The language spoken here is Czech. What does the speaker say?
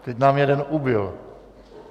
Teď nám jeden ubyl.